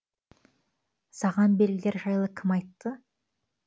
саған белгілер жайлы кім айтты